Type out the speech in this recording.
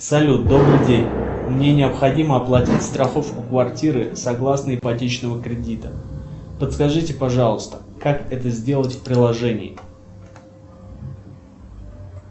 салют добрый день мне необходимо оплатить страховку квартиры согласно ипотечного кредита подскажите пожалуйста как это сделать в приложении